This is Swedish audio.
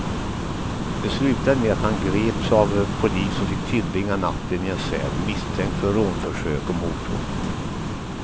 Det slutade med att han greps av polis och fick tillbringa natten i en cell, misstänkt för rånförsök och mordhot.